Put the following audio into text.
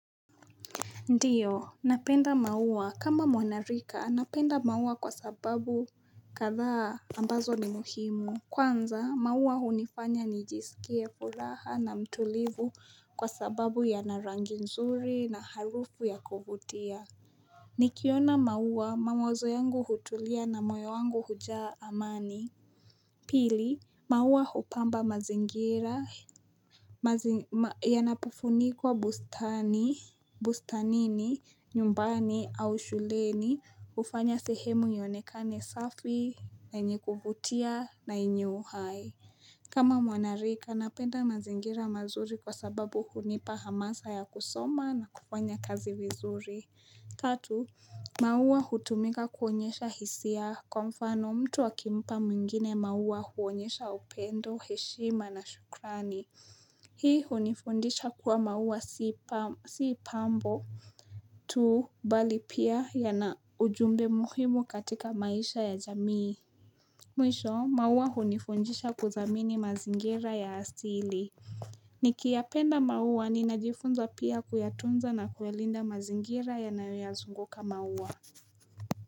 Ndiyo, napenda maua kama mwanarika, napenda maua kwa sababu kathaa ambazo ni muhimu. Kwanza, maua unifanya ni jisikie furaha na mtulivu kwa sababu ya narangi nzuri na harufu ya kuvutia. Nikiona maua, mawazo yangu hutulia na moyo wangu hujaa amani. Pili, maua hupamba mazingira ya napufunikwa bustani, bustanini, nyumbani au shuleni, hufanya sehemu ionekani safi na yenye kuvutia na yenye uhai. Kama mwanarika, napenda mazingira mazuri kwa sababu hunipa hamasa ya kusoma na kufanya kazi vizuri. Tatu, maua hutumika kuonyesha hisia kwa mfano mtu akimpa mwingine maua huonyesha upendo, heshima na shukrani. Hii hunifundisha kuwa maua si pambo tu bali pia ya na ujumbe muhimu katika maisha ya jamii. Mwisho, maua hunifundisha kudhamini mazingira ya asili. Nikiyapenda maua ninajifunza pia kuyatunza na kuyalinda mazingira yanayoya zunguka maua.